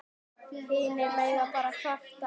Hinir mega bara kvarta.